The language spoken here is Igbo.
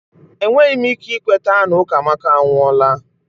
Enweghị m ike ikweta na Ukamaka anwụọla